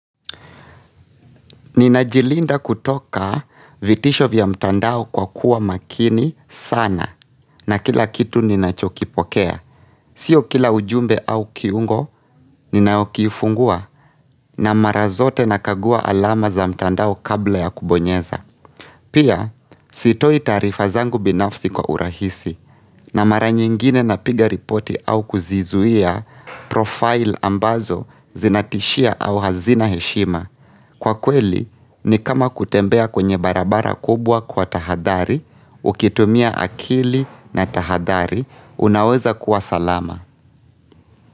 Ninajilinda kutoka vitisho vya mtandao kwa kuwa makini sana na kila kitu ninachokipokea. Sio kila ujumbe au kiungo ninayokifungua na mara zote nakagua alama za mtandao kabla ya kubonyeza. Pia, sitoi taarifa zangu binafsi kwa urahisi na mara nyingine napiga ripoti au kuzizuia profile ambazo zinatishia au hazina heshima. Kwa kweli, ni kama kutembea kwenye barabara kubwa kwa tahathari, ukitumia akili na tahathari, unaweza kuwa salama.